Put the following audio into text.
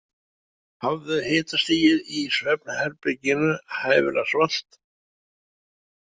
Hafðu hitastigið í svefnherberginu hæfilega svalt.